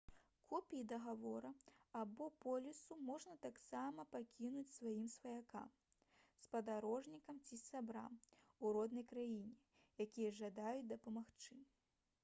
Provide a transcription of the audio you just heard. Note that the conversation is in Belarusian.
копіі дагавору або полісу можна таксама пакінуць сваім сваякам спадарожнікам ці сябрам у роднай краіне якія жадаюць дапамагчы